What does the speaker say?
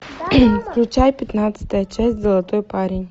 включай пятнадцатая часть золотой парень